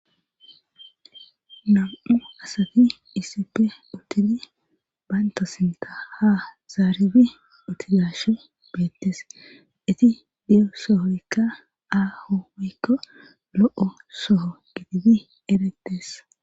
Nam7u asati iisipe uttidi baynto sinta ha zaaribi uttidashe beettes iti diyo sohoykka aaho wykko lo7o soho gidibi eretes.